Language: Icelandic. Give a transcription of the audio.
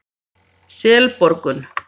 Selborgum